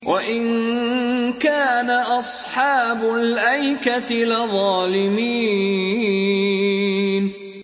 وَإِن كَانَ أَصْحَابُ الْأَيْكَةِ لَظَالِمِينَ